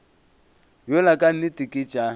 yola ka nnete ke tša